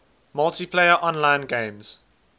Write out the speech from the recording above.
multiplayer online games